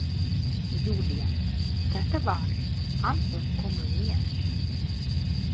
Júlía: Þetta var- Anton kom með mér.